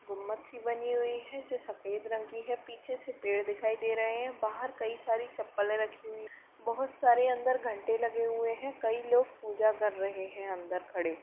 गुंबद सी बनी हुई है जो सफेद रंग की है पीछे से पेड़ दिखाई दे रहे हैं। बाहर कई सारी चप्पले रखी हुई हैं। बहुत सारे अंदर घंटे लगे हुए हैं। कई लोग पूजा कर रहे हैं अंदर खड़े --